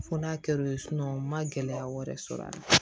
Fo n'a kɛr'o ye n ma gɛlɛya wɛrɛ sɔrɔ a la